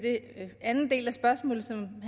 anden del af det spørgsmål som